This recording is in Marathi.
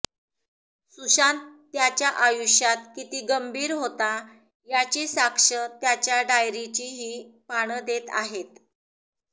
सुशांत त्याच्या आयुष्यात किती गंभीर होता याची साक्ष त्याच्या डायरीची ही पानं देत आहेत